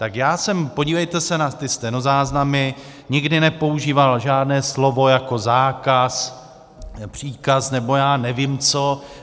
Tak já jsem, podívejte se na ty stenozáznamy, nikdy nepoužíval žádné slovo jako zákaz, příkaz nebo já nevím co.